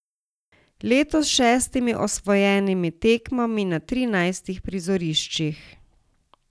Letos s šestimi osvojenimi tekmami na trinajstih prizoriščih.